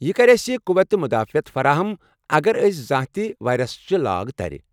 یہ کرِ اَسہ قوتِ مدافعت فراہم اگر أسۍ زانٛہہ تہِ وایرسٕچہِ لاگ تَرِ ۔